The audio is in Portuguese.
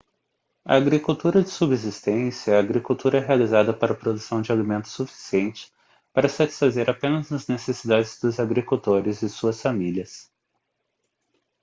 a agricultura de subsistência é a agricultura realizada para a produção de alimento suficiente para satisfazer apenas as necessidades dos agricultores e suas famílias